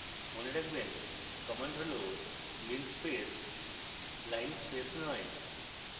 মনে রাখবেন command হল linspace linespace নয়